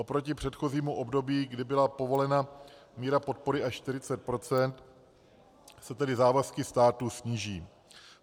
Oproti předchozímu období, kdy byla povolena míra podpory až 40 %, se tedy závazky státu sníží.